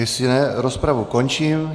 Jestli ne, rozpravu končím.